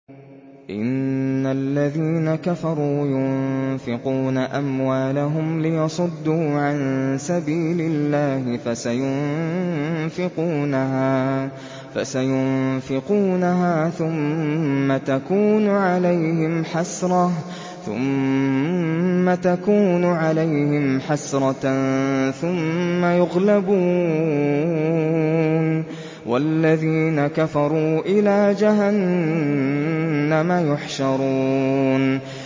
إِنَّ الَّذِينَ كَفَرُوا يُنفِقُونَ أَمْوَالَهُمْ لِيَصُدُّوا عَن سَبِيلِ اللَّهِ ۚ فَسَيُنفِقُونَهَا ثُمَّ تَكُونُ عَلَيْهِمْ حَسْرَةً ثُمَّ يُغْلَبُونَ ۗ وَالَّذِينَ كَفَرُوا إِلَىٰ جَهَنَّمَ يُحْشَرُونَ